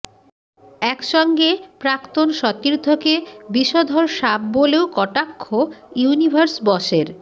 একসঙ্গে প্রাক্তন সতীর্থকে বিষধর সাপ বলেও কটাক্ষ ইউনিভার্স বসের